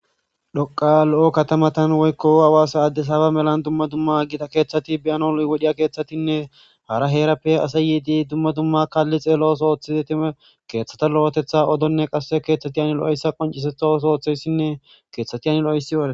Dhoqa lo7o katamatan woykko awaasa addesaba melan dumma dumma gida keeththati beyano wodhiya keeththatinne hara heerappe asa yiidi dumma dumma kaalli xeelosoothize time keeththata lo7etetha odonne qasse keeththati ani lo7essa qoncisetho sooththeyssinne keeththati ani lo7ossi yoahde